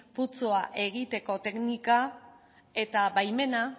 putzua egiteko teknika eta baimena